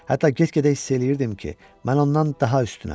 Hətta get-gedə hiss eləyirdim ki, mən ondan daha üstünəm.